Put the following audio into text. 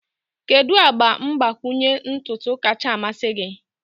Kedu agba mgbakwunye ntutu kacha a mmasị gị?